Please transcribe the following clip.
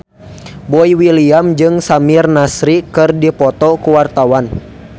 Boy William jeung Samir Nasri keur dipoto ku wartawan